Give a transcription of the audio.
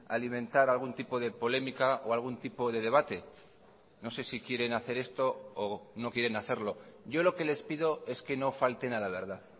alimentar algún tipo de polémica o algún tipo de debate no sé si quieren hacer esto o no quieren hacerlo yo lo que les pido es que no falten a la verdad